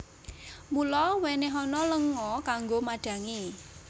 Mula wènèhana lenga kanggo madhangi